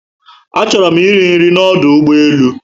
A chọrọ mụ eri nri na ọdụ ugbọelu